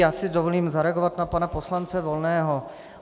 Já si dovolím zareagovat na pana poslance Volného.